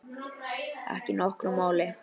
Ekki nokkru máli.